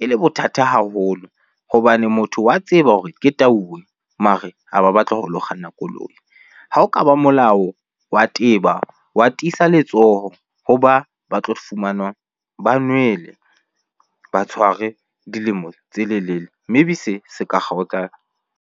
e le bothata haholo hobane motho wa tseba hore ke tauwe mare ha ba batla ho lo kganna koloi. Ha o ka ba molao wa teba wa tiisa letsoho ho ba ba tlo fumanwang ba nwele ba tshware dilemo tse lelele, maybe se se ka kgaotsa.